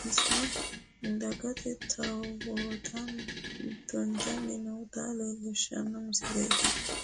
bissa dage towatanni noota leelishano misileeti.